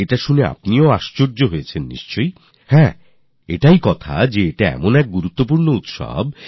একথা শুনে আপনিও আশ্চর্য হলেন তো হ্যাঁ এটাই কথা যে এটি এমনই গুরুত্বপূর্ণ উৎসব